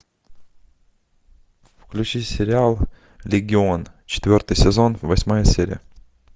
включи сериал легион четвертый сезон восьмая серия